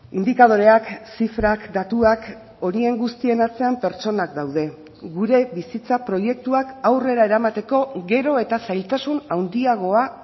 indikadoreak zifrak datuak horien guztien atzean pertsonak daude gure bizitza proiektuak aurrera eramateko gero eta zailtasun handiagoa